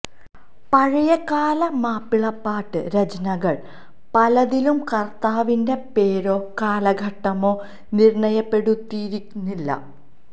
പഴയ കാല മാപ്പിളപ്പാട്ട് രചനകള് പലതിലും കര്ത്താവിന്റെ പേരോ കാലഘട്ടമോ നിര്ണയപ്പെടുത്തിയിരുന്നില്ല